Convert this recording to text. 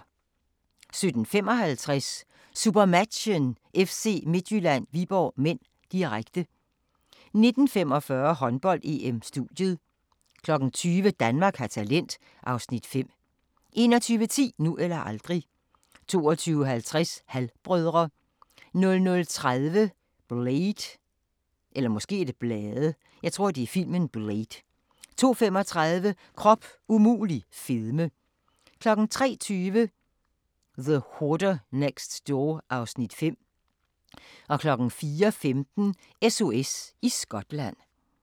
17:55: SuperMatchen: FC Midtjylland-Viborg (m), direkte 19:45: Håndbold: EM - studiet 20:00: Danmark har talent (Afs. 5) 21:10: Nu eller aldrig 22:50: Halv-brødre 00:30: Blade 02:35: Krop umulig – fedme 03:20: The Hoarder Next Door (Afs. 5) 04:15: SOS i Skotland